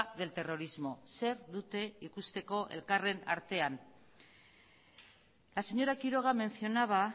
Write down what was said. del terrorismo zer dute ikusteko elkarren artean la señora quiroga mencionaba